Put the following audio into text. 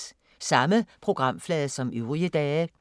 Samme programflade som øvrige dage